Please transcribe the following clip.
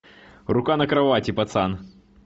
рука на кровати пацан